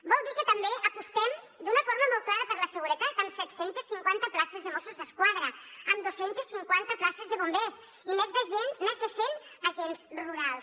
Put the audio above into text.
vol dir que també apostem d’una forma molt clara per la seguretat amb set cents i cinquanta places de mossos d’esquadra amb dos cents i cinquanta places de bombers i més de cent agents rurals